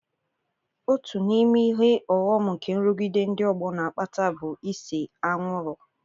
Otu n'ime ihe ọghọm nke nrụgide ndị ọgbọ n'akpata bụ ise anwụrụ.